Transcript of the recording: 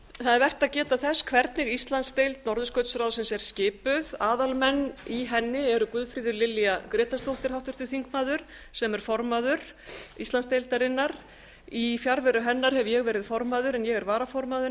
það er vert að geta þess hvernig íslandsdeild norðurskautsráðsins er skipuð aðalmenn í henni eru guðfríður lilja grétarsdóttir háttvirtur þingmaður sem er formaður íslandsdeildarinnar í fjarveru hennar hef ég verið formaður en ég er varaformaður